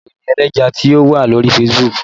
Wo ìròyìn ẹlẹ́jẹ̀ tí ó wà lórí Facebook!